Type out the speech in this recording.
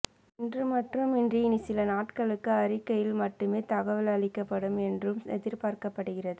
இன்று மட்டுமின்றி இனி சில நாட்களுக்கு அறிக்கையில் மட்டுமே தகவல் அளிக்கப்படும் என்றும் எதிர்பார்க்கப்படுகிறது